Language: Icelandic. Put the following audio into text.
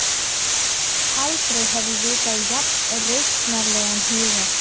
Aldrei hef ég vitað jafn rausnarlegan huga.